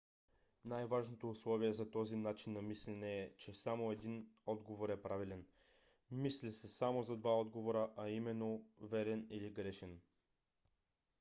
най-важното условие за този начин на мислене е че само един отговор е правилен. мисли се само за два отговора а именно верен или грешен